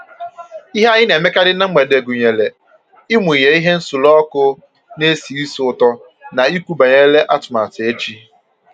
Ihe anyị na emekarị na mgbede gụnyere ịmụnye ihe nsuru ọkụ na esi ísì ụtọ na ikwu banyere atụmatụ echi